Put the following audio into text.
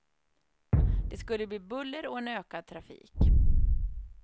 Det skulle bli buller och en ökad trafik.